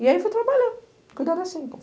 E aí fui trabalhar, cuidar das cinco.